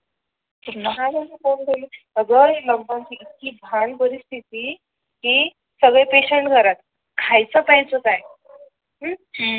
अ ग लोकडवून ची इतकी घाण परिस्थिती ती सगळी पेशंट घरात. खाय चं प्यायचं काय हम्म